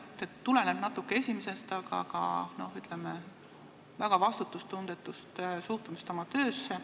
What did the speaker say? See tuleneb natuke esimesest põhjusest, aga ka väga vastutustundetust suhtumisest oma töösse.